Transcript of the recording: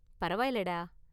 பரவாயில்லை டா.